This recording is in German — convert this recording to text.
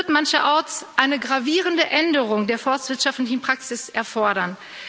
Das wird mancherorts eine gravierende Änderung der forstwirtschaftlichen Praxis erfordern.